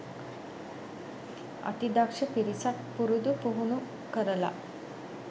අති දක්ෂ පිරිසක් පුරුදු පුහුණු කරලා